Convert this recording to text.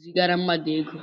zigara mmadụ ego